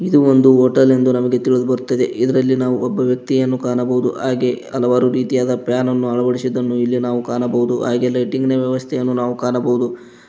ಇದು ಒಂದು ಹೋಟೆಲ್ ನಮಗೆ ತಿಳಿದುಬರುತ್ತದೆ ಇದರಲ್ಲಿ ನಾವು ಒಬ್ಬ ವ್ಯಕ್ತಿಯನ್ನು ಕಾಣಬಹುದು ಹಾಗೆ ಹಲವಾರು ರೀತಿಯಾದ ಫ್ಯಾನ್ ನನ್ನು ಅಳವಡಿಸಿದ್ದನ್ನು ಇಲ್ಲಿ ನಾವು ಕಾಣಬಹುದು ಹಾಗೆ ಲೈಟಿಂಗ್ ನ ವ್ಯವಸ್ಥೆಯನ್ನು ನಾವು ಕಾಣಬಹುದು.